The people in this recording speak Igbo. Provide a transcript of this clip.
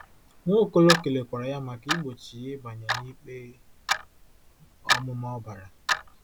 Nwaokolo kelekwara ya maka igbochi ya ịbanye n'ikpe ọmụma ọbara.